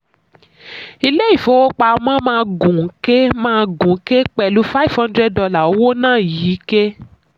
ilé ìfowópamọ́ máa gùn ké máa gùn ké pẹ̀lú five hundred dollar owó náà yí ké.